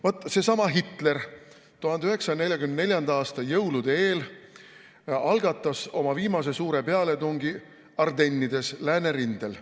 Vaat seesama Hitler algatas 1944. aasta jõulude eel oma viimase suure pealetungi Ardennides Läänerindel.